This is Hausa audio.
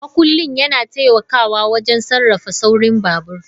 Makullin yana taimakawa wajen sarrafa saurin babur.